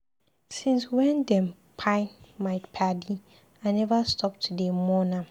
Since wey dem kpai my paddy, I neva stop to dey mourn am